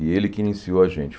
E ele que iniciou a gente.